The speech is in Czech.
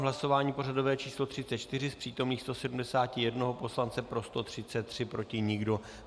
V hlasování pořadové číslo 34 z přítomných 171 poslance pro 133, proti nikdo.